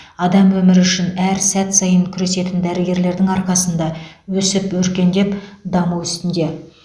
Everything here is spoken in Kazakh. адам өмірі үшін әр сәт сайын күресетін дәрігерлердің арқасында өсіп өркендеп даму үстінде